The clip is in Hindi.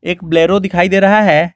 एक बोलेरो दिखाई दे रहा है।